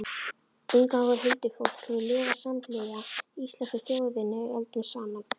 Inngangur Huldufólk hefur lifað samhliða íslensku þjóðinni öldum saman.